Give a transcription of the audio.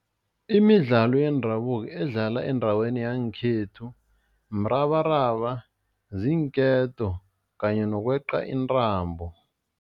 Imidlalo yendabuko edlalwa endaweni yangekhethu mrabaraba, ziinketo kanye nokweqa intambo.